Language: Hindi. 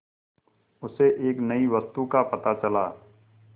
उसे एक नई वस्तु का पता चला